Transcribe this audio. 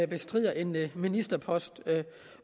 bestrider en ministerpost